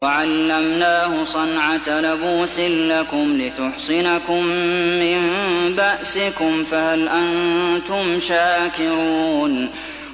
وَعَلَّمْنَاهُ صَنْعَةَ لَبُوسٍ لَّكُمْ لِتُحْصِنَكُم مِّن بَأْسِكُمْ ۖ فَهَلْ أَنتُمْ شَاكِرُونَ